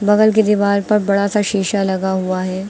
बगल के दीवार पर बड़ा सा शीशा लगा हुआ है।